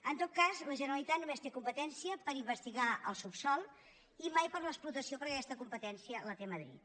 en tot cas la generalitat només té competència per investigar el subsòl i mai per a l’explotació perquè aquesta competència la té madrid